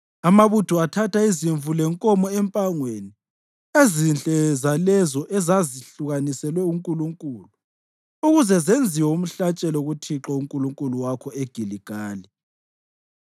Amabutho athatha izimvu lenkomo empangweni, ezinhle zalezo ezazahlukaniselwe uNkulunkulu, ukuze zenziwe umhlatshelo kuThixo uNkulunkulu wakho eGiligali.”